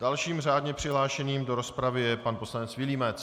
Dalším řádně přihlášeným do rozpravy je pan poslanec Vilímec.